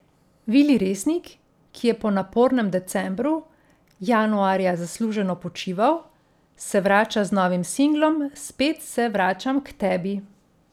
Vili Resnik, ki je po napornem decembru, januarja zasluženo počival, se vrača z novim singlom Spet se vračam k tebi.